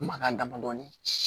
Mankan damadɔni